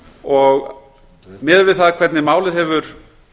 og miðað við það hvernig málið hefur